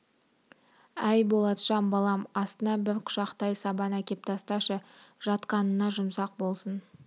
әй болатжан балам астына бір құшақтай сабан әкеп тасташы жатқанына жұмсақ болсын